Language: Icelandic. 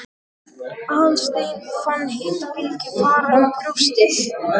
Aðalsteinn fann hitabylgju fara um brjóstið.